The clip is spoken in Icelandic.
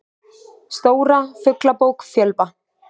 Stóra Fuglabók Fjölva.